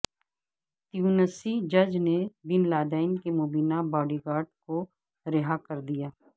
تیونسی جج نے bin Laden کے مبینہ باڈی گارڈ کو رہا کر دیا